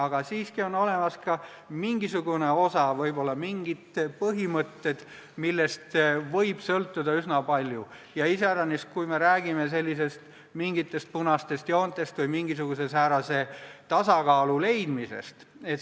Aga siiski on olemas ka mingisugune osa, võib-olla mingid põhimõtted, millest võib sõltuda üsna palju – iseäranis siis, kui me räägime mingisugustest punastest joontest või mingisuguse tasakaalu leidmisest.